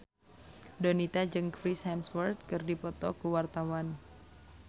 Donita jeung Chris Hemsworth keur dipoto ku wartawan